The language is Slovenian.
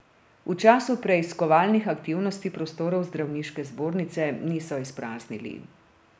V času preiskovalnih aktivnosti prostorov zdravniške zbornice niso izpraznili.